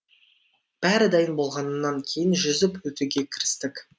бәрі дайын болғаннан кейін жүзіп өтуге кірістік